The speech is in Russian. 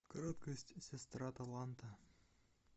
краткость сестра таланта